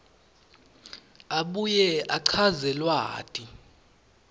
abuye achaze lwati